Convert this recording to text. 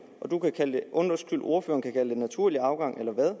og ordføreren kan kalde det naturlig afgang eller hvad